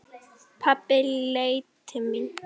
Pabbi leit til mín.